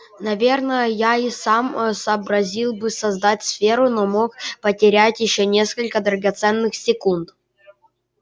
наверное я и сам сообразил бы создать сферу но мог потерять ещё несколько драгоценных секунд